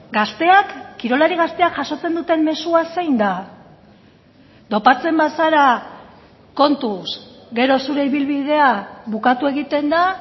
gazteak kirolari gazteak jasotzen duten mezua zein da dopatzen bazara kontuz gero zure ibilbidea bukatu egiten da